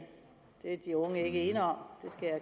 det er de unge ikke ene om